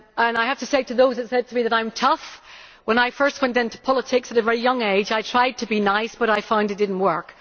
I have to say, to those who said to me that I am tough, that when I first went into politics at a very young age I tried to be nice but I found it did not work.